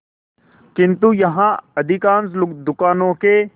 किंतु यहाँ अधिकांश दुकानों के